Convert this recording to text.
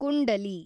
ಕುಂಡಲಿ